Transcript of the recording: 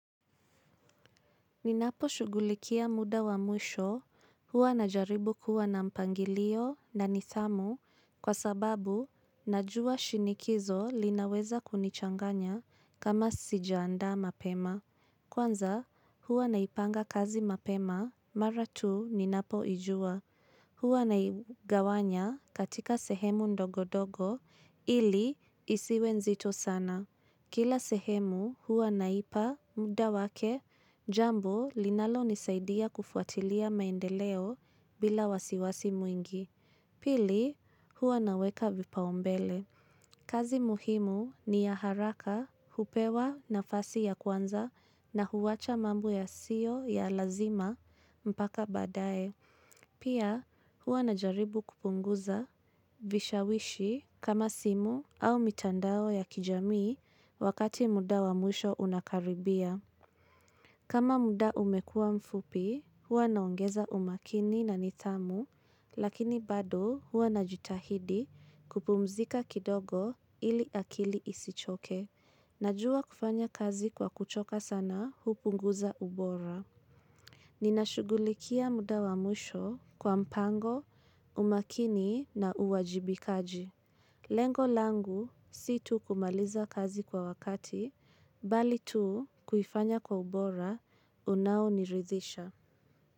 Ninaposhugulikia muda wa mwisho huwa na jaribu kuwa na mpangilio na nithamu kwa sababu najua shinikizo linaweza kunichanganya kama sijaanda mapema. Kwanza huwa naipanga kazi mapema mara tu ninapoijua. Huwa naigawanya katika sehemu ndogo dogo ili isiwe nzito sana. Kila sehemu huwa naipa muda wake jambo linalonisaidia kufuatilia maendeleo bila wasiwasi mwingi. Pili huwa naweka vipaumbele. Kazi muhimu ni ya haraka, hupewa nafasi ya kwanza na huwacha mambo yasiyo ya lazima mpaka baadae. Pia hua na jaribu kupunguza vishawishi kama simu au mitandao ya kijamii wakati muda wa mwisho unakaribia. Kama muda umekuwa mfupi, hua naongeza umakini na nithamu, lakini bado hua na jitahidi kupumzika kidogo ili akili isichoke. Najua kufanya kazi kwa kuchoka sana, hupunguza ubora. Nina shugulikia muda wa mwisho kwa mpango, umakini na uwajibikaji. Lengo langu si tu kumaliza kazi kwa wakati, bali tu kuifanya kwa ubora, unaoniridhisha.